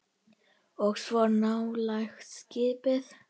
Og svo nálgast skipið.